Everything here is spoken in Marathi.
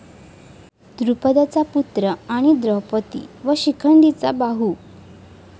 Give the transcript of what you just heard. द्रुपदाचा पुत्र आणि द्रौपदी व शिखंडीचा भाऊ.